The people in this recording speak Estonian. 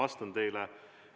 Ma vastan teile.